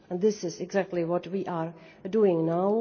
This is exactly what we are doing now.